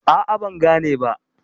A'a, ban gane ba.